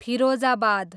Firozabad